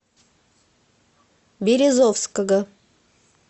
березовского